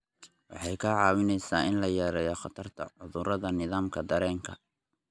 Waxay kaa caawinaysaa in la yareeyo khatarta cudurrada nidaamka dareenka.